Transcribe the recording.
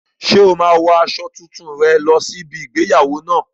Ṣé o máa wo aṣọ tuntun rẹ lọ sí ibi igbéyàwó náà?